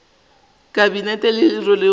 la kabinete leo le rwelego